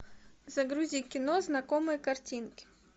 загрузи кино знакомые картинки